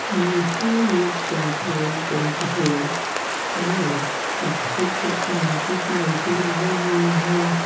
यह एक petrol pump है और इसके छत में कुछ लाइटे लगी हुई हैं।